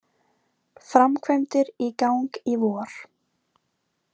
Framkvæmdir í gang í vor